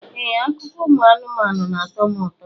Ee, akụkọ ụmụ anụmanụ na-atọ m ụtọ.